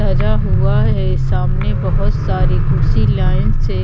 सजा हुआ है सामने बहुत सारी कुर्सी लाइन से--